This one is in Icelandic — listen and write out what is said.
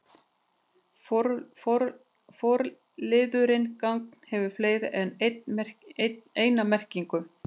Forliðurinn gagn- hefur fleiri en eina merkingu.